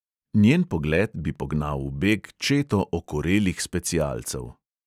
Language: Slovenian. Njen pogled bi pognal v beg četo okorelih specialcev.